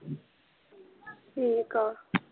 ਠੀਕ ਹੈ